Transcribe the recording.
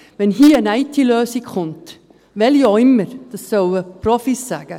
Wenn hier eine IT-Lösung kommt – welche auch immer –, sollen das die Profis sagen.